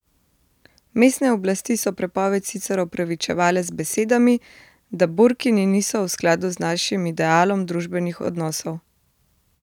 Mestne oblasti so prepoved sicer opravičevale z besedami, da burkiniji niso v skladu z našim idealom družbenih odnosov.